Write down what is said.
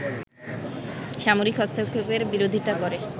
সামরিক হস্তক্ষেপের বিরোধিতা করে